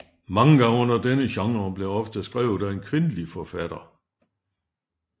Manga under denne genre bliver ofte skrevet af en kvindelig forfatter